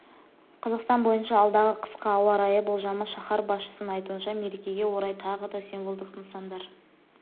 қазақстан бойынша алдағы қысқа ауа райы болжамы шаһар басшысының айтуынша мерекеге орай тағы да символдық нысандар